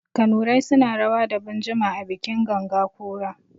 Kanurai suna rawa da binjima a bikin ganga ƙura.